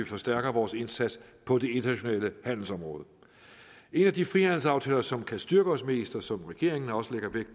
forstærke vores indsats på det internationale handelsområde en af de frihandelsaftaler som kan styrke os mest og som regeringen også lægger vægt